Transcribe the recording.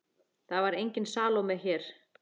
Það var engin Salóme hér.